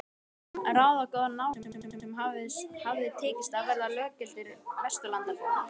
Ráðagóða náunga sem hafði tekist að verða löggiltir Vesturlandabúar.